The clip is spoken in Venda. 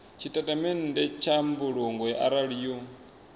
tshitatamennde tsha mbulungo arali yo